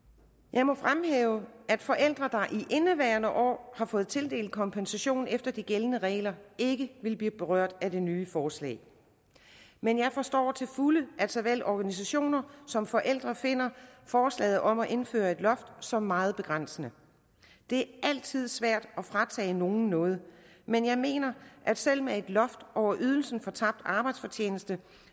jeg må fremhæve at forældre der i indeværende år har fået tildelt kompensation efter de gældende regler ikke vil blive berørt af det nye forslag men jeg forstår til fulde at såvel organisationer som forældre finder forslaget om at indføre et loft som meget begrænsende det er altid svært at fratage nogen noget men jeg mener at selv med et loft over ydelsen for tabt arbejdsfortjeneste